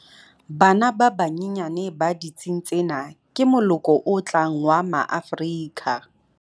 Bana ba banyenyane ba ditsing tsena ke moloko o tlang wa Maafrika